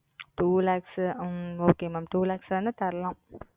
Two Lakhs உம் Okay Ma'am Two Lakhs வேணா தரலாம்.